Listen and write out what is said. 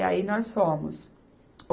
E aí nós fomos. O